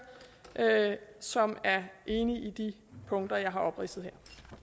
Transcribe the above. som er enig i de punkter jeg har opridset her